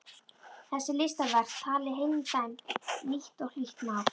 Þessi listaverk tali heilnæmt, nýtt og hlýtt mál.